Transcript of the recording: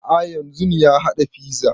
A'a yanzun ya haɗa fiza